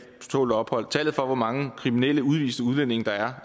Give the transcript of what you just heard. tålt ophold tallet for hvor mange kriminelle udviste udlændinge der er